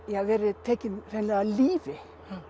verið tekinn hreinlega af lífi